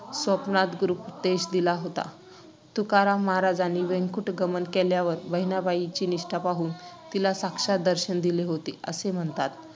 स्वप्नात गुरुपदेश दिला होता. तुकाराममहाराजांनीं वैकुंठगमन केल्यावर बहिणाबाईची निष्ठा पाहून तिला साक्षात दर्शन दिले होते, असे म्हणतात.